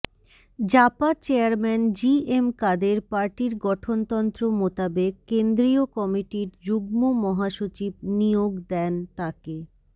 JaPa chairman G M Quader পার্টির গঠনতন্ত্র মোতাবেক কেন্দ্রীয় কমিটির যুগ্ম মহাসচিব নিয়োগ দেন তাকে